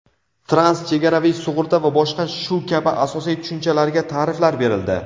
transchegaraviy sug‘urta va boshqa shu kabi asosiy tushunchalarga taʼriflar berildi.